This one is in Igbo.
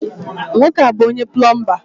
Nwoke a bu onye-pulumba